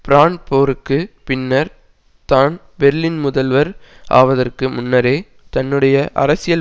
brand போருக்கு பின்னர் தான் பெர்லின் முதல்வர் ஆவதற்கு முன்னரே தன்னுடைய அரசியல்